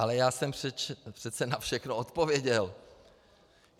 Ale já jsem přece na všechno odpověděl.